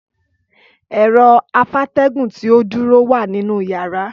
Ẹ̀rọ afátẹ́gùn tí ó dúró wà nínú yàrá